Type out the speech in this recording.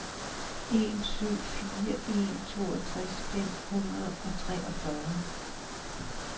en syv fire en toogtres fem hundrede og treogfyrre